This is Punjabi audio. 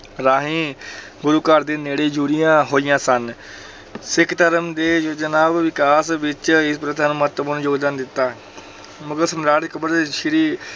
ਰਾਹੀਂ ਗੁਰੂ ਘਰ ਦੇ ਨੇੜੇ ਜੁੜੀਆਂ ਹੋਈਆਂ ਸਨ ਸਿੱਖ ਧਰਮ ਦੇ ਯੋਜਨਾ ਵਿਕਾਸ ਵਿੱਚ ਇਸ ਪ੍ਰਥਾ ਨੇ ਮਹੱਤਵਪੂਰਨ ਯੋਗਦਾਨ ਦਿੱਤਾ ਮੁਗ਼ਲ ਸਮਰਾਟ ਅਕਬਰ ਸ੍ਰੀ